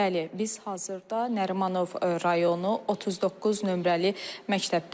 Bəli, biz hazırda Nərimanov rayonu 39 nömrəli məktəbdəyik.